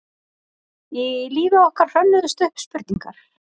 Í lífi okkar hrönnuðust upp spurningar.